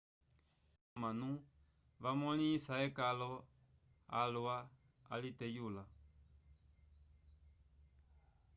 egi jatamba comanu vamoleisa ecalo alwa aliteyula